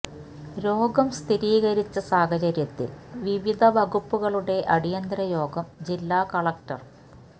രോഗം സ്ഥിരീകരിച്ച സാഹചര്യത്തിൽ വിവിധ വകുപ്പുകളുടെ അടിയന്തര യോഗം ജില്ലാ കളക്ടറ